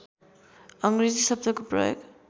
अङ्ग्रेजी शब्दको प्रयोग